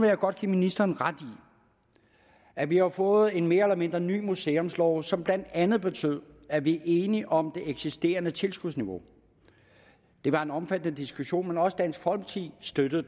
jeg godt give ministeren ret i at vi har fået en mere eller mindre ny museumslov som blandt andet betyder at vi er enige om det eksisterende tilskudsniveau det var en omfattende diskussion men også dansk folkeparti støttede